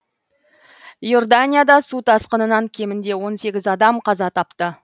иорданияда су тасқынынан кемінде он сегіз адам қаза тапты